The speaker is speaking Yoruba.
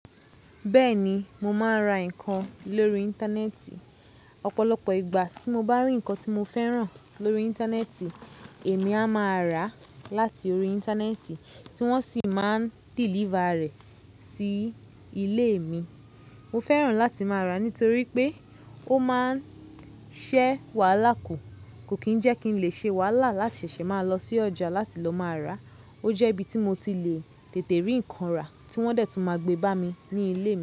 Bẹ́ẹ̀ni, mo máa ń ra nǹkan lórí íntánẹ́ẹ̀tì, ọ̀pọ̀lọpọ̀ ìgbà tí mo bá rí nǹkan tí mo fẹ́ràn lórí íntánẹ́ẹ̀tì èmi a máa rà láti orí íntánẹ́ẹ̀tì, tí wọ́n sì máa ń délífà rẹ̀ sí ilé mi Mo fẹ́ràn láti máa ra nítorí pé ó máa ń ṣẹ́ wàhálà kù. Kò kí ń jẹ́ kí n lè ṣe wàhálà láti ṣèṣè máa lọ sí ọjà láti lọ máa ra. Ó jẹ́ ibi tí mo ti le tètè rí nǹkan rà, tí wọ́n dẹ̀ tún máa gbé bá mi ní ilé mi.